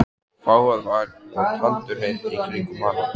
Og fágað var og tandurhreint í kringum hana.